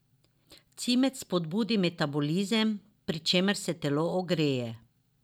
Cimet spodbudi metabolizem, pri čemer se telo ogreje.